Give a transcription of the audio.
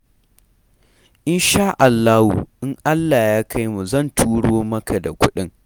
Insha Allahu, in Allah ya kai mu zan turo maka da kuɗin.